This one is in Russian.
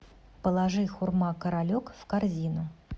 положи хурма королек в корзину